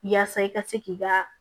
Yaasa i ka se k'i ka